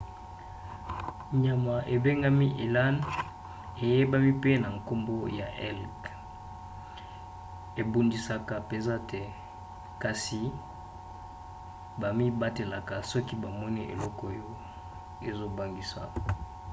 nyama ebengami elan eyebani pe na nkombo ya elk ebundisaka mpenza te kasi bamibatelaka soki bamoni eloko oyo ezobangisa